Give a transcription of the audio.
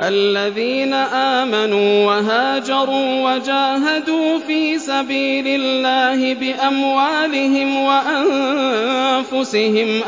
الَّذِينَ آمَنُوا وَهَاجَرُوا وَجَاهَدُوا فِي سَبِيلِ اللَّهِ بِأَمْوَالِهِمْ وَأَنفُسِهِمْ